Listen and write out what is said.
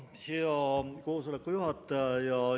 Hea koosoleku juhataja!